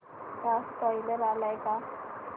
चा स्पोईलर आलाय का